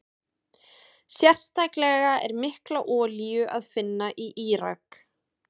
Sérstaklega er mikla olíu að finna í Írak.